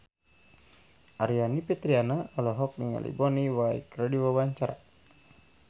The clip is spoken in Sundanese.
Aryani Fitriana olohok ningali Bonnie Wright keur diwawancara